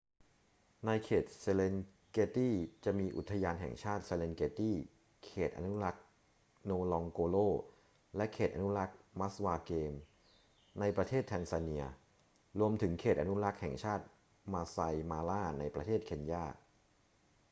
ในเขต serengeti จะมีอุทยานแห่งชาติ serengeti เขตอนุรักษ์ ngorongoro และเขตอนุรักษ์ maswa game ในประเทศแทนซาเนีย รวมถึงเขตอนุรักษ์แห่งชาติ maasai mara ในประเทศเคนยา